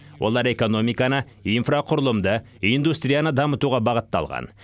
олар экономиканы инфрақұрылымды индустрияны дамытуға бағытталған